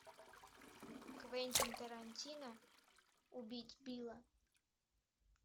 квентин тарантино убить билла